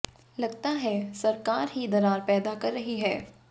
लगता है सरकार ही दरार पैदा कर रही है